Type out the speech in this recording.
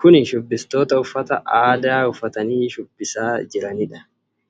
Kun shubbistoota uffata aadaa uffatanii shubbisaa jiraniidha.